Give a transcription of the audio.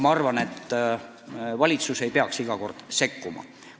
Ma arvan, et valitsus ei peakski iga kord sekkuma.